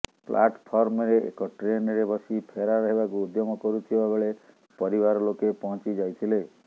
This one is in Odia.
ପ୍ଲାଟଫର୍ମରେ ଏକ ଟ୍ରେନରେ ବସି ଫେରାର୍ ହେବାକୁ ଉଦ୍ୟମ କରୁଥିବା ବେଳେ ପରିବାର ଲୋକେ ପହଞ୍ଚିଯାଇଥିଲେ